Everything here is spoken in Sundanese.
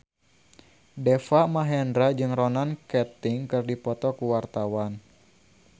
Deva Mahendra jeung Ronan Keating keur dipoto ku wartawan